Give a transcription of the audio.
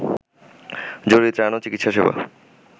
জরুরী ত্রাণ ও চিকিৎসা সেবা